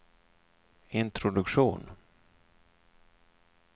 introduktion